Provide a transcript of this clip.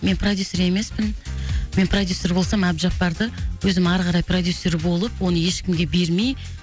мен продюссер емеспін мен продюссер болсам әбжаппарды өзім ары қарай продюссер болып оны ешкімге бермей